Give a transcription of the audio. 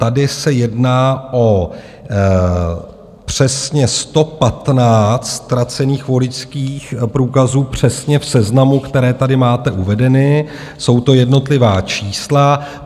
Tady se jedná o přesně 115 ztracených voličských průkazů, přesně v seznamu, které tady máte uvedeny, jsou to jednotlivá čísla.